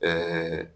Ɛɛ